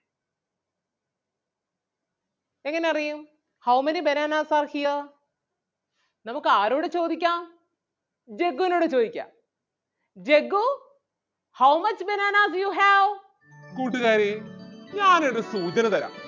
എങ്ങനെ അറിയും? How many bananas are here? നമുക്ക് ആരോട് ചോദിക്കാം? ജഗ്ഗുനോട് ചോദിക്കാം Jaggu how much bananas you have?